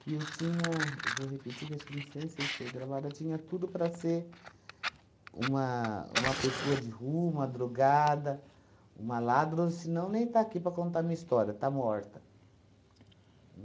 que eu tinha, vou repetir, que acho que não sei sei se foi gravado, eu tinha tudo para ser uma uma pessoa de rua, uma drogada, uma ladra ou senão nem está aqui para contar minha história, estar morta.